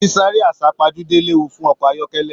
Sisare asapajude léwu fún ọkọ ayọkẹlẹ.